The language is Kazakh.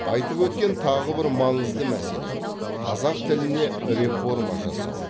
айтып өткен тағы бір маңызды мәселе қазақ тіліне реформа жасау